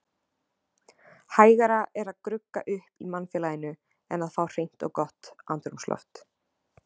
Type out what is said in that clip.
Hægara er að grugga upp í mannfélaginu en að fá hreint og gott andrúmsloft.